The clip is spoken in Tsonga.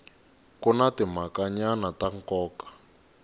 ku na timhakanyana ta nkoka